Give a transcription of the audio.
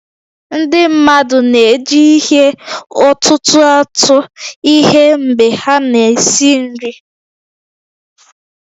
Ndị mmadụ na-eji ihe ọ̀tụ̀tụ̀ atụ ihe mgbe ha na-esi nri